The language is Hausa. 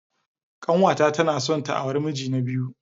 Kanwata tana son ta auri miji na biyu.